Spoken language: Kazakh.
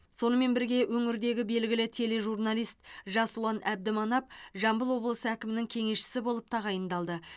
сонымен бірге өңірдегі белгілі тележурналист жасұлан әбдіманап жамбыл облысы әкімінің кеңесшісі болып тағайындалды